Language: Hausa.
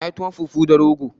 Na yin tuwon fufu da rogo